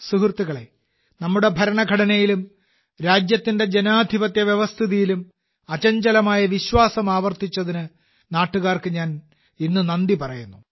സുഹൃത്തുക്കളേ നമ്മുടെ ഭരണഘടനയിലും രാജ്യത്തിന്റെ ജനാധിപത്യ വ്യവസ്ഥിതിയിലും അചഞ്ചലമായ വിശ്വാസം ആവർത്തിച്ചതിന് നാട്ടുകാർക്ക് ഇന്ന് ഞാൻ നന്ദി പറയുന്നു